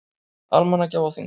Almannagjá á Þingvöllum.